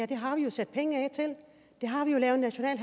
det har vi jo sat penge af til og det har vi lavet en national